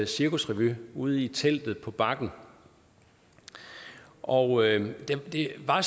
cirkusrevy ude i teltet på bakken og det var